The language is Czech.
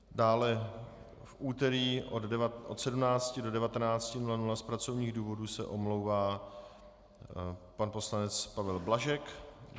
Dále v úterý od 17 do 19 hodin z pracovních důvodů se omlouvá pan poslanec Pavel Blažek.